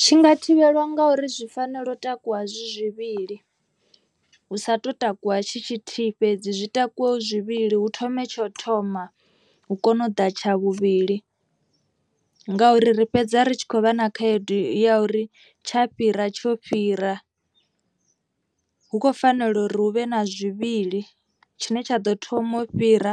Tshi nga thivhelwa nga uri zwi fanela u takuwa zwi zwivhili. Hu sa to takuwa tshi tshithihi fhedzi zwi takuwe hu zwivhili hu thome tsha u thoma hu kone u ḓa tsha vhuvhili. Ngauri ri fhedza ri tshi khou vha na khaedu ya uri tsha fhira tsho fhira. Hu khou fanela uri hu vhe na zwivhili tshine tsha ḓo thoma u fhira